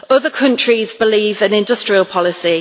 other countries believe in industrial policy.